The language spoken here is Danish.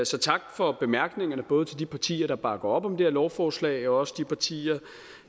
så tak for bemærkningerne både til de partier der bakker op om det her lovforslag og også de partier